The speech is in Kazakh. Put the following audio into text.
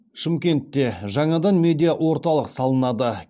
шымкентте жаңадан медиа орталық салынады